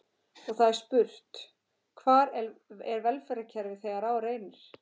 Og það er spurt: Hvar er velferðarkerfið þegar á reynir?